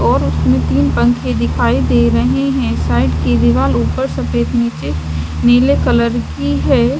और उसने तीन पंखे दिखाई दे रहे हैं साइड के दीवाल ऊपर सफेद नीचे नीले कलर की है।